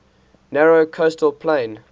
narrow coastal plain